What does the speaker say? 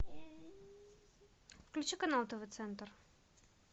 включи канал тв центр